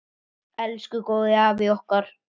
Elsku góði afi okkar.